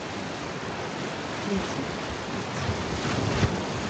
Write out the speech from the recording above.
рецепт пиццы